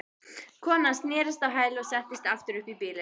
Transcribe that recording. Konan snerist á hæli og settist aftur upp í bílinn.